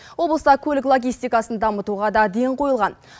облыста көлік логистикасын дамытуға да ден қойылған